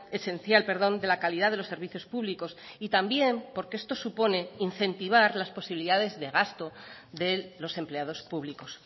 esencial de la calidad de los servicios públicos y también porque esto supone incentivar las posibilidades de gasto de los empleados públicos